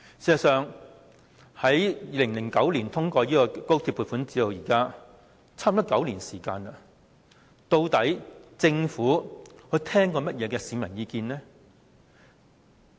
事實上，在2009年通過高鐵撥款至今差不多9年，究竟政府曾聽取過市民甚麼意見呢？